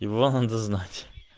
его надо знать